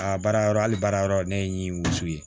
Aa baara yɔrɔ hali baara yɔrɔ ne ye n wolo so ye